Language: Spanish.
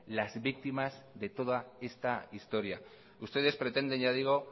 las víctimas de toda esta historia ustedes pretenden